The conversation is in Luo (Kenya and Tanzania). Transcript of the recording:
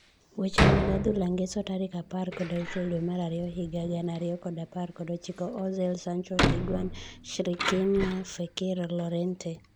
Weche mag adhula ngeso tarik apar kod auchiel dwee mar ariyo higa gana ariyo kod apar kod ochiko:Ozil, Sancho, Higuain, Shkriniar, Fekir, Llorente.